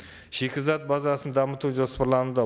шикізат базасын дамыту жоспарлануда